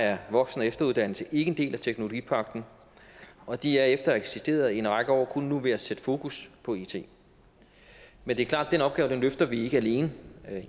er voksen og efteruddannelse ikke en del af teknologipagten og de er efter at have eksisteret i en række år kun nu ved at sætte fokus på it men det er klart at den opgave løfter vi ikke alene